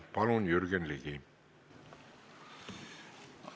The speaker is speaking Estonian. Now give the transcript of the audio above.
Palun, Jürgen Ligi!